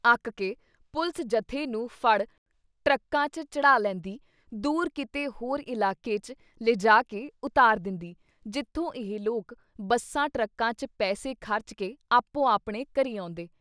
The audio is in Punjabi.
ਅੱਕ ਕੇ ਪੁਲਿਸ ਜਥੇ ਨੂੰ ਫੜ ਟਰੱਕਾਂ ‘ਚ ਚੜ੍ਹਾ ਲੈਂਦੀ, ਦੂਰ ਕਿਤੇ ਹੋਰ ਇਲਾਕੇ ‘ਚ ਲਿਜਾ ਕੇ ਉਤਾਰ ਦਿੰਦੀ ਜਿੱਥੋਂ ਇਹ ਲੋਕ ਬੱਸਾਂ ਟਰੱਕਾਂ ‘ਚ ਪੈਸੇ ਖਰਚ ਕੇ ਆਪੋ-ਆਪਣੇ ਘਰੀਂ ਆਉਂਦੇ।